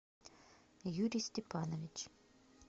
юрий степанович